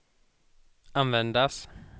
användas